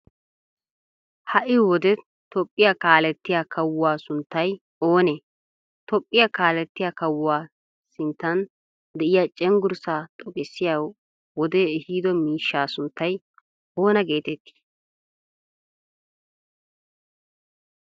Hai wode tophiya kaalettiyaa kawuwaa sunttay oone? Tophiya kaalettiya kawuwaa sinttan de7iya cenggurssa xoqqissiyaa wode ehido miishshaa sunttay oona geetetti?